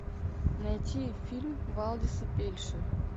найти фильм валдиса пельша